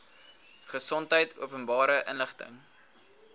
gesondheid openbare inligting